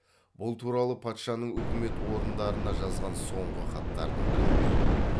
бұл туралы патшаның өкімет орындарына жазған соңғы хаттарының бірінде